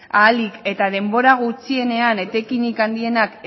ahalik eta denbora gutxienean etekin handienak